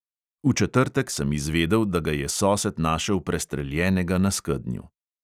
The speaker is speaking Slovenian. V četrtek sem izvedel, da ga je sosed našel prestreljenega na skednju.